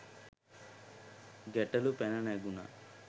ගැටලු පැන නැඟුණා.